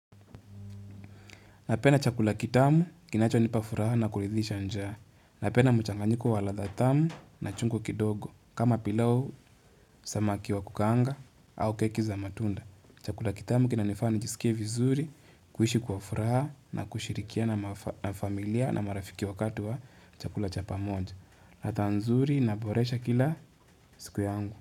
Napenda chakula kitamu kinacho nipa furaha na kuridhisha njaa. Napenda mchanganyiko wa ladha tamu na chungu kidogo. Kama pilau samaki wa kukaanga au keki za matunda. Chakula kitamu kinanifanya njisikie vizuri kuishi kwa furaha na kushirikiana na familia na marafiki wakati wa chakula cha pamonja. Ladha nzuri inaboresha kila siku yangu.